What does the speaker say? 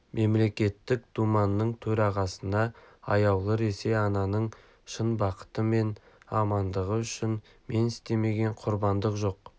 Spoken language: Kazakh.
мемлекеттік думаның төрағасына аяулы ресей-ананың шын бақыты мен амандығы үшін мен істемеген құрбандық жоқ